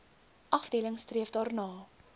afdeling streef daarna